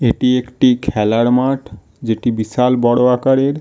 এটি একটি খেলার মাঠ। যেটি বিশাল বড়ো আকারের ।